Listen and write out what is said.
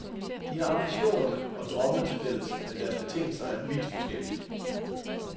De har ambitionerne og drømmene til fælles, men deres betingelser er vidt forskellige.